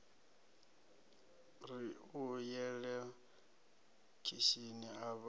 ri u yela khishini avha